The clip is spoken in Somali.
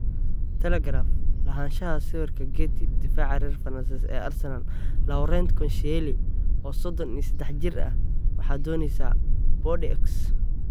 (Telegraph) Lahaanshaha sawirka getty difacaca reer Fransis ee Arsenal Laurent Koscielny, oo sodon iyo sedex jir ah, waxaa dooneysa Bordeaux.